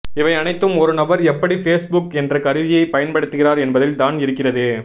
இவை அனைத்தும் ஒரு நபர் எப்படி ஃபேஸ்புக் என்ற கருவியை பயன்படுத்துகிறார் என்பதில் தான் இருக்கிறது